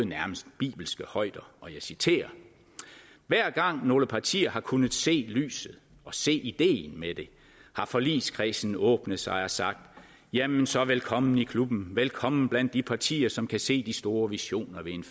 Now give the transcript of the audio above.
nærmest bibelske højder og jeg citerer hver gang nogle partier har kunnet se lyset og se ideen med det har forligskredsen åbnet sig og sagt jamen så velkommen i klubben velkommen blandt de partier som kan se de store visioner